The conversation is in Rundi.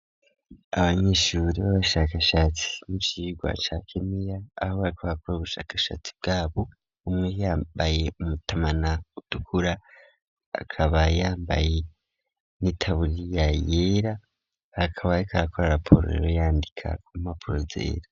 Abanyeshuri b'abashakashatsi n'icirwa ca keneya aho barikobakora ubushakashatsi bwabo, umwe yambaye umutamana utukura, akaba yambaye n'itaburiya yera, bakaba kakora raporo lero yandika ku mapuro zera.